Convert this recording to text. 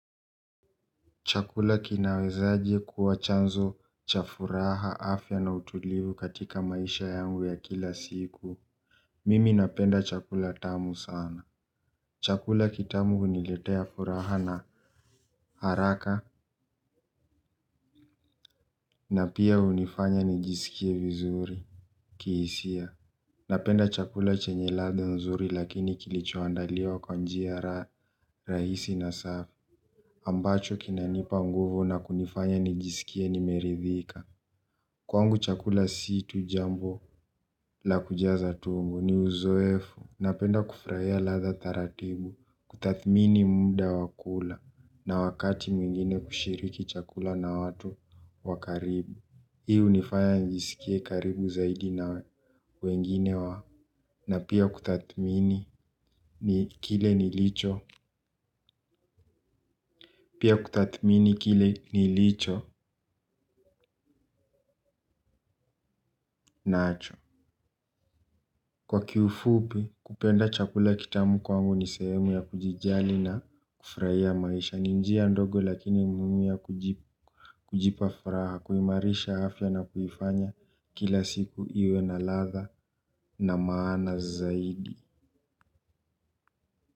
Chakula kinawezaje kuwa chanzo cha furaha afya na utulivu katika maisha yangu ya kila siku. Mimi napenda chakula tamu sana. Chakula kitamu uniletea furaha na haraka na pia unifanya nijisikie vizuri. Kihisia. Napenda chakula chenye ladha nzuri lakini kilichoandaliwa kwa njia rahisi na safi ambacho kinanipa unguvu na kunifanya nijisikie nimeridhika. Kwangu chakula si tu jambo la kujaza tumbo ni uzoefu napenda kufurahia ladha taratibu kutathmini muda wakula na wakati mwingine kushiriki chakula na watu wa karibu. Hii hunifanya nijisikie karibu zaidi na wengine wa na kutathmini pia kutathmini kile nilicho nacho. Kwa kiufupi kupenda chakula kitamu kwangu ni sehemu ya kujijali na kufurahia maisha ni njia ndogo lakini muhimu ya kujipa furaha kuimarisha afya na kufanya kila siku iwe na ladha na maana zaidi.